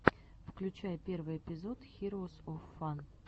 включай первый эпизод хироус оф фан